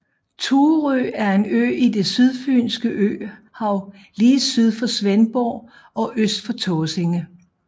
Thurø er en ø i det Sydfynske Øhav lige syd for Svendborg og øst for Tåsinge